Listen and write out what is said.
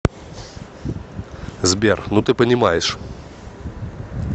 сбер ну ты понимаешь